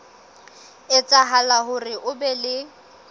etsahala hore ho be le